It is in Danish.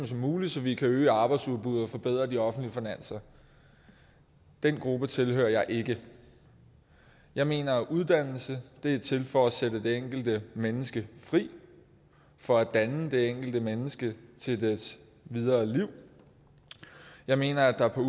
som muligt så vi kan øge arbejdsudbuddet og forbedre de offentlige finanser den gruppe tilhører jeg ikke jeg mener at uddannelse er til for at sætte det enkelte menneske fri for at danne det enkelte menneske til dets videre liv jeg mener at der på